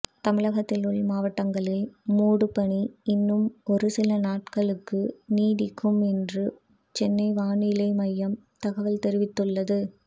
தமிழகத்தில் உள்மாவட்டங்களில் மூடுபனி இன்னும் ஒருசில நாட்களுக்கு நீடிக்கும் என்று சென்னை வானிலை மையம் தகவல் தெரிவித்துள்ளது